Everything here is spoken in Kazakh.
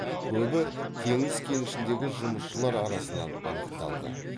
көбі теңіз кенішіндегі жұмысшылар арасынан анықталды